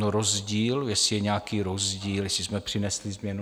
No rozdíl, jestli je nějaký rozdíl, jestli jsme přinesli změnu.